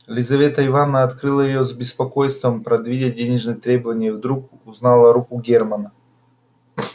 лизавета ивановна открыла её с беспокойством предвидя денежные требования и вдруг узнала руку германна